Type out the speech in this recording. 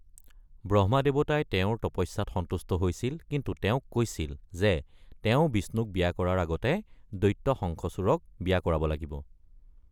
ব্ৰহ্মা দেৱতাই তেওঁৰ তপস্যাত সন্তুষ্ট হৈছিল কিন্তু তেওঁক কৈছিল যে তেওঁ বিষ্ণুক বিয়া কৰাৰ আগতে দৈত্য শংখাচূড়ক বিয়া কৰাব লাগিব।